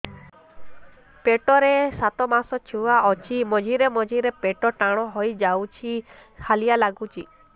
ପେଟ ରେ ସାତମାସର ଛୁଆ ଅଛି ମଝିରେ ମଝିରେ ପେଟ ଟାଣ ହେଇଯାଉଚି ହାଲିଆ ଲାଗୁଚି